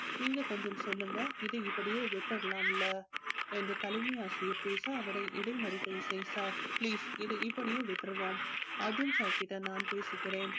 நீங்க கொஞ்சம் சொல்லுங்க இதை இப்படியே விட்டுடலாம்ல என்று தலைமை ஆசிரியர் பேச அவரை இடைமறிக்கை செய்தார் please இதை இப்படியே விட்டுருவோம் அர்ஜுன் sir கிட்ட நான் பேசுகிறேன்